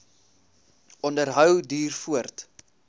onderhou duur voort